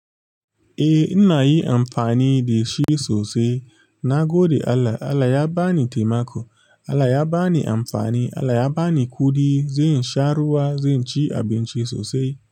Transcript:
Eh ina yi amfani da shi sosai. Nagode Allah Allah ya bani taimako. Allah ya ba ni amfani. Allah ya ba ni kuɗi. Zen sha ruwa, zen ci abinci sosai.